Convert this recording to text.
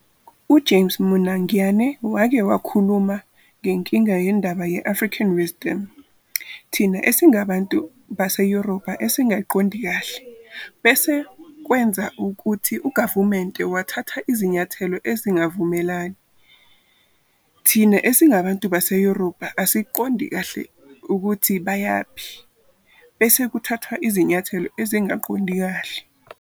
UJames Monangyane wake wakhuluma ngenkinga yendaba ye"African Wisdom",thina esingabantu baseyoRubha esingayiqondi kahle. Bese kwenza ukuthi ugavumente uthatha izinyathelo ezingavumelani, thina esingabantu baseYorubha asiqondi kahle ukuthi bayaphi, bese kuthathwa izinyathelo ezingaqondi kahle.